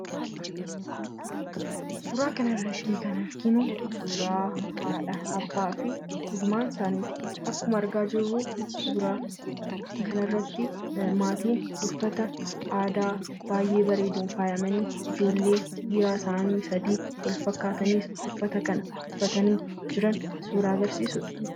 Suuraa kanarratti kan arginu suuraa haadha, abbaa fi ilmaan isaaniiti. Akkuma argaa jirru suura kanarratti maatii uffata aadaa baay'ee bareeduun faayamanii ijoollee dhiiraa isaanii sadii wal fakkaataniis uffata kana uffatanii jiran suuraa agarsiisudha.